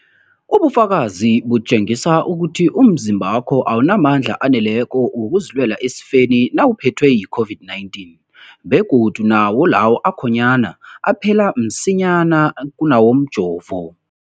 Ipendulo, ubufakazi butjengisa ukuthi umzimbakho awunamandla aneleko wokuzilwela esifeni nawuphethwe yi-COVID-19, begodu nawo lawo akhonyana aphela msinyana kunawomjovo.